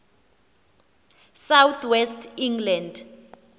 south west england